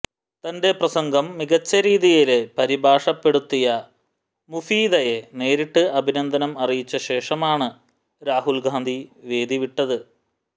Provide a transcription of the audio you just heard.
തന്റെ പ്രസംഗം മികച്ച രീതിയില് പരിഭാഷപ്പെടുത്തിയ മുഫീദയെ നേരിട്ട് അഭിനന്ദനം അറിയിച്ച ശേഷമാണ് രാഹുല് ഗാന്ധി വേദി വിട്ടത്